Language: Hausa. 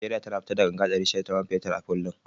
Nigeria tana fitar da ganga ɗari shida ta man fetur a kullum